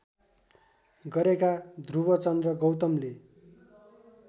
गरेका ध्रुवचन्द्र गौतमले